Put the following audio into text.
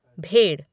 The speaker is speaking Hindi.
भेड़